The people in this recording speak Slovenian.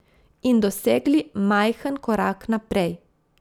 In dosegli majhen korak naprej.